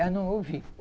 Eu não ouvi.